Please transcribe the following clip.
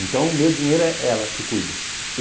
Então, o meu dinheiro é ela que cuida.